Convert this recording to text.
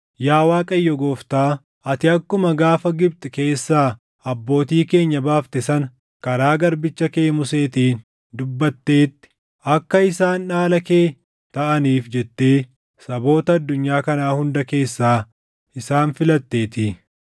Yaa Waaqayyo Gooftaa, ati akkuma gaafa Gibxi keessaa abbootii keenya baafte sana karaa garbicha kee Museetiin dubbattetti, akka isaan dhaala kee taʼaniif jettee saboota addunyaa kanaa hunda keessaa isaan filatteetii.”